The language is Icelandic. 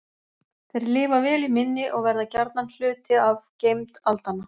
Þeir lifa vel í minni og verða gjarnan hluti af geymd aldanna.